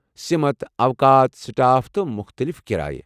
سِمت ، اوقات ، سٹاپ تہٕ ، تہٕ مٗختلف كِرایہ ۔